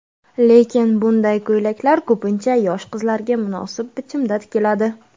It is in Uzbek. Lekin, bunday ko‘ylaklar ko‘pincha yosh qizlarga munosib bichimda tikiladi.